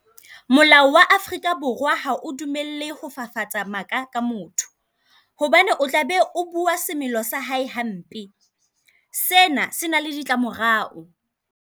Molao wa Afrika Borwa ha o dumelle ho fafatsa maka ka motho. Hobane o tla be o bua semelo sa hae hampe. Sena se na le ditlamorao.